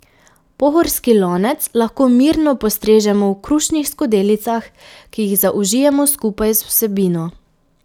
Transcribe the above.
Pohorski lonec lahko mirno postrežemo v krušnih skodelicah, ki jih zaužijemo skupaj z vsebino.